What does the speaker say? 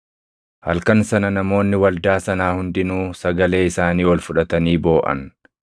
Halkan sana namoonni waldaa sanaa hundinuu sagalee isaanii ol fudhatanii booʼan.